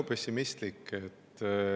– väga pessimistlik.